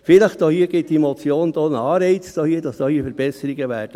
Vielleicht gibt diese Motion einen Anreiz, dass neue Verbesserungen kommen werden.